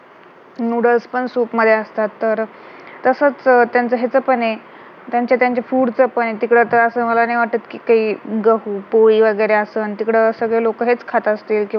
noodles पण soup मध्ये असतात तर तसंच त्यांचं ह्याच पण आहे त्यांचं त्यांचं food चं पण आहे त्यांचं तिकडं तर मला नाही वाटत कि ते गहू, पोळी वगैरे असं तिकडं सगळे लोक हेच खात असतील